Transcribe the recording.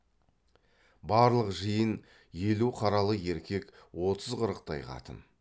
барлық жиын елу қаралы еркек отыз қырықтай қатын